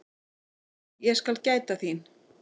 Ég skal gæta þín.